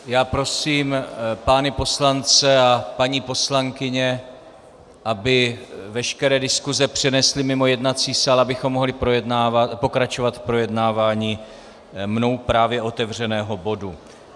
Já prosím pány poslance a paní poslankyně, aby veškeré diskuse přenesli mimo jednací sál, abychom mohli pokračovat v projednávání mnou právě otevřeného bodu.